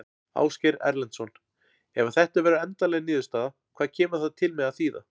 Ásgeir Erlendsson: Ef að þetta verður endanleg niðurstaða, hvað kemur það til með að þýða?